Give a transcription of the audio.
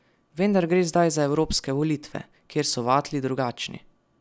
Vendar gre zdaj za evropske volitve, kjer so vatli drugačni.